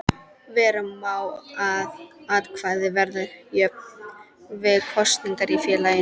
Vera má að atkvæði verði jöfn við kosningar í félaginu.